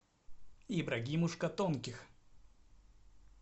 ибрагимушка тонких